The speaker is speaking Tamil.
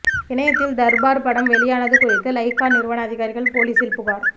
இணையத்தில் தர்பார் படம் வெளியானது குறித்து லைக்கா நிறுவன அதிகாரிகள் போலீசில் புகார்